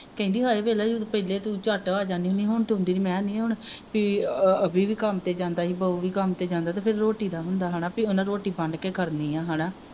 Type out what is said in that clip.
ਕਹਿੰਦੀ ਹਏ ਵੇਖ ਲਾ ਤੂੰ ਪਹਿਲੇ ਤੂੰ ਝੱਟ ਜਾਂਦੀ ਹੁੰਦੀ ਹੀ ਹੁਣ ਤੂੰ ਆਉਦੀ ਨੀ ਮੈਂ ਨਹੀਂ ਹੁਣ ਕੀ ਆ ਆਹ ਅਵੀ ਵੀ ਕੰਮ ਤੇ ਜਾਂਦਾ ਹੀ ਬਾਊ ਵੀ ਕੰਮ ਤੇ ਜਾਂਦਾ ਫਿਰ ਰੋਟੀ ਦਾ ਹੁੰਦਾ ਹਣਾ ਬਈ ਉਨ੍ਹਾਂ ਨੇ ਰੋਟੀ ਬੰਨ ਕੇ ਖੜਨੀ ਆ ਹਣਾ